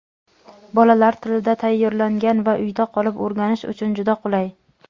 bolalar tilida tayyorlangan va uyda qolib o‘rganish uchun juda qulay!.